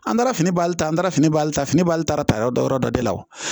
An taara fini baari ta an taara fini bali ta fini bali taa yɔrɔ dɔ yɔrɔ dɔ de la wo